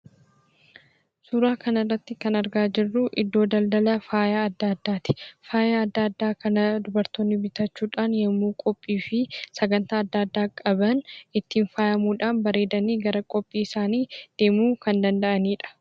Suuraa kana irratti kan argaa jirru iddoo daldala faaya adda addaati. Faaya adda addaa kana dubartoonni bitachuudhaan yammuu qophiifi sagantaa adda addaa qaban ittiin fayyadamiudhaan bareedanii gara qophii isaanii deemuu kan danda'anidha.